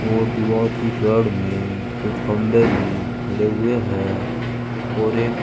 और दीवार के साइड में कुछ खंबे भी खड़े हुए हैं और एक--